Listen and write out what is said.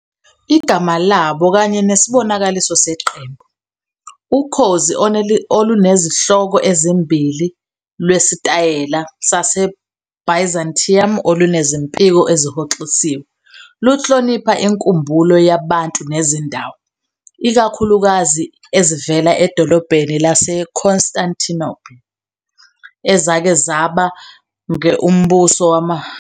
Igama labo, kanye nesibonakaliso seqembu, ukhozi olunezinhloko ezimbili lwesitayela saseByzantium olunezimpiko ezihoxisiwe, luhlonipha inkumbulo yabantu nezindawo, ikakhulukazi ezivela edolobheni laseConstantinople, ezake zaba nge UMbuso WaseRoma WaseMpumalanga.